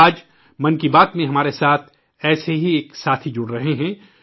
آج ، من کی بات میں ، ایسا ہی ایک ساتھی ہمارے ساتھ شامل ہو رہا ہے